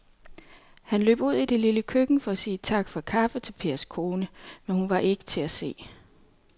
Han løb ud i det lille køkken for at sige tak for kaffe til Pers kone, men hun var ikke til at se.